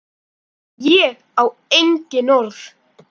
Ég á engin orð.